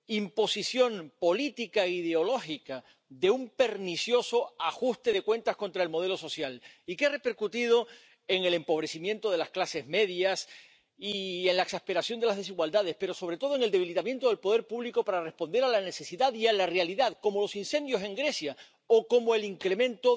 imposición política e ideológica, de un pernicioso ajuste de cuentas contra el modelo social, y que ha repercutido en el empobrecimiento de las clases medias y en la exasperación de las desigualdades, pero, sobre todo, en el debilitamiento del poder público para responder a la necesidad y a la realidad, como los incendios en Grecia o como el incremento